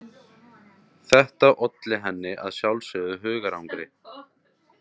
Þetta olli henni að sjálfsögðu hugarangri.